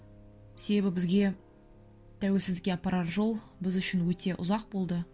себебі бізге тәуелсіздікке апарар жол біз үшін өте ұзақ болды